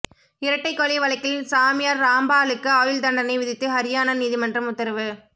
இரட்டைக்கொலை வழக்கில் சாமியார் ராம்பாலுக்கு ஆயுள் தண்டனை விதித்து ஹரியானா நீதிமன்றம் உத்தரவு